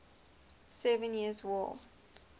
seven years war